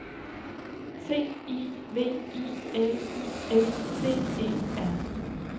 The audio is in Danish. C I V I L I S T E R